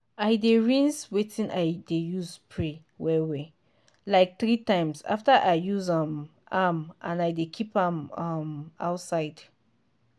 i dey rinse wetin i dey use spray well-well like three times after i use um am and i dey keep am um outside.